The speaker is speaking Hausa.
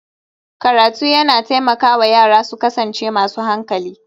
Karatu yana taimaka wa yara su kasance masu hankali